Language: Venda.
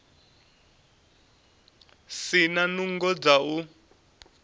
si na nungo dza u